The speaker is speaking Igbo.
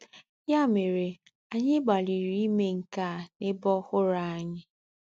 Ya mere, anyị gbalịrị ime nke a n'ebe ọhụrụ anyị.